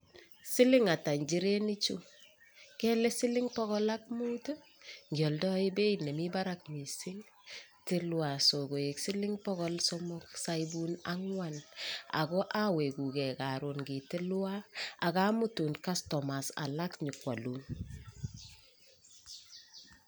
Siling ata inchireni chuu kele siling bokol ak muut tii ngioldoi beit nemiii barak missing tilwon sikoik siling bokol somok sioibun anwan ako owekuu gee korun itilwon ak amutun kastomaek alak nyokwolun.